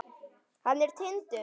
Hann er Tindur.